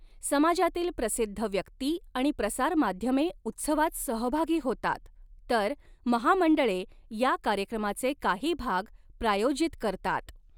समाजातील प्रसिद्ध व्यक्ती आणि प्रसारमाध्यमे उत्सवात सहभागी होतात, तर महामंडळे या कार्यक्रमाचे काही भाग प्रायोजित करतात.